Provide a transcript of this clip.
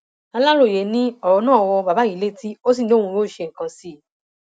aláròyé ni ọrọ náà wọ bàbá yìí létí ó sì ní òun yóò ṣe nǹkan sí i